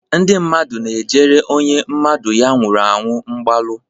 Ndị mmadụ na-ejere onye mmadụ ya nwụrụ anwụ mgbalu.